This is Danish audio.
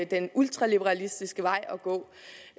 den ultraliberalistiske vej